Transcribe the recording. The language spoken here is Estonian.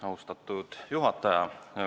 Austatud juhataja!